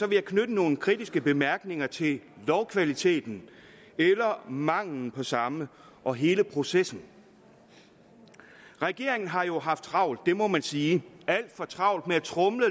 vil jeg knytte nogle kritiske bemærkninger til lovkvaliteten eller mangelen på samme og hele processen regeringen har jo haft travlt det må man sige alt for travlt med at tromle